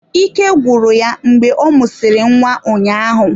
Ike gwụrụ ya mgbe ọ mụsịrị nwa ụnyaahụ.